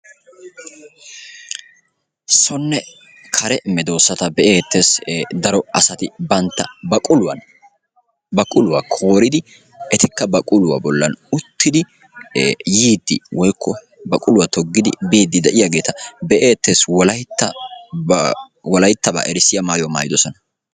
Sonne kare medoosata be'ettees. Daro asari bantta baquluwan, baquluwa kooridi etikka baquluwa bolli uttidi yiidi woykko baquluwa toggidi biidi de'iyaageeta be"ettees. Wolayttaa, wolayttaba erissiya maayyuwa maayyidoosona.